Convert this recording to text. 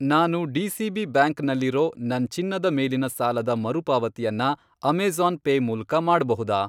ನಾನು DCB. Bank ನಲ್ಲಿರೋ ನನ್ ಚಿನ್ನದ ಮೇಲಿನ ಸಾಲ ದ ಮರುಪಾವತಿಯನ್ನ ಅಮೇಜಾ಼ನ್ ಪೇ ಮೂಲಕ ಮಾಡ್ಬಹುದಾ?